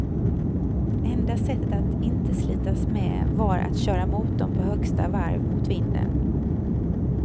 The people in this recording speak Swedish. Enda sättet att inte slitas med var att köra motorn på högsta varv mot vinden.